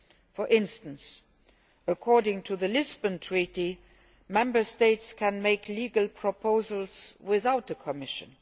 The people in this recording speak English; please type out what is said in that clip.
For instance, according to the Lisbon Treaty, Member States can make legislative proposals without the Commission.